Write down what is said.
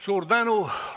Suur tänu!